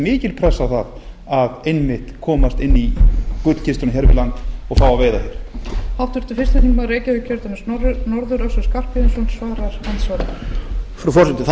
mikil pressa á það einmitt að komast inn í gullkistuna hér við land og fá að veiða fisk